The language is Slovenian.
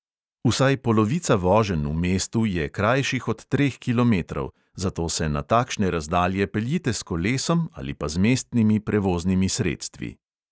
Vsaj polovica voženj v mestu je krajših od treh kilometrov, zato se na takšne razdalje peljite s kolesom ali pa z mestnimi prevoznimi sredstvi.